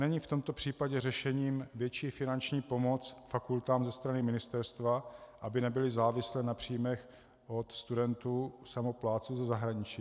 Není v tomto případě řešením větší finanční pomoc fakultám ze strany ministerstva, aby nebyly závislé na příjmech od studentů-samoplátců ze zahraničí?